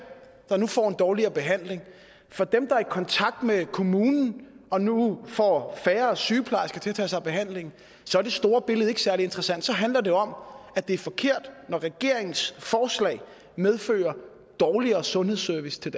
der nu får en dårligere behandling og for dem der er i kontakt med kommunen og nu får færre sygeplejersker til at tage sig af behandlingen så er det store billede ikke særlig interessant så handler det jo om at det er forkert når regeringens forslag medfører dårligere sundhedsservice